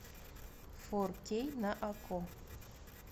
фор кей на окко